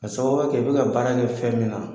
K'a sababuya kɛ i bɛ ka baara kɛ fɛn min na